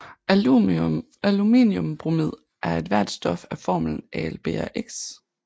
Aluminiumbromid er ethvert stof af formlen AlBrx